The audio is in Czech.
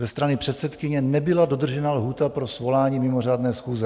Ze strany předsedkyně nebyla dodržena lhůta pro svolání mimořádné schůze.